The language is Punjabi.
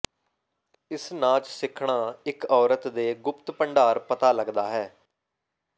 ਇਸ ਨਾਚ ਸਿੱਖਣਾ ਇਕ ਔਰਤ ਦੇ ਗੁਪਤ ਭੰਡਾਰ ਪਤਾ ਲੱਗਦਾ ਹੈ